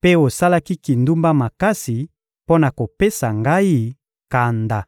mpe osalaki kindumba makasi mpo na kopesa Ngai kanda.